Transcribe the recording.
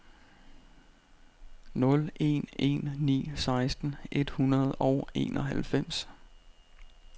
nul en en ni seksten et hundrede og enoghalvfems